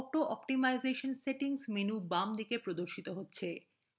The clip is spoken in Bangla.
অটো অষ্টিমাইজেশন সেটিংস menu বাম দিকে প্রদর্শিত হবে